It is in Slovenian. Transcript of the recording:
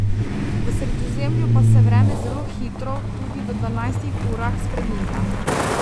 V Sredozemlju pa se vreme zelo hitro, tudi v dvanajstih urah, spreminja.